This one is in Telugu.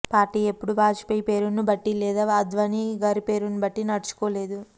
పార్టీ ఎప్పుడూ వాజ్ పేయి పేరును బట్టి లేదా అద్వానీ గారి పేరును బట్టి నడుచుకోలేదు